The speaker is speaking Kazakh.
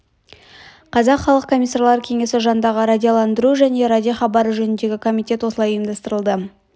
қазақ халық комиссарлар кеңесі жанындағы радиоландыру және радиохабары жөніндегі комитет осылай ұйымдастырылды